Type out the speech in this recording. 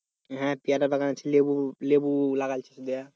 হে পেয়ারার বাগান আছে লেবু লেবু লাগিয়েছে